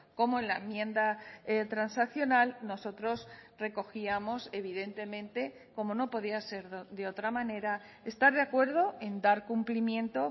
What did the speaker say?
como en la enmienda transaccional nosotros recogíamos evidentemente como no podía ser de otra manera estar de acuerdo en dar cumplimiento